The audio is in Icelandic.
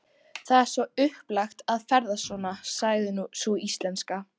Það er svo upplagt að ferðast svona, sagði sú íslenska.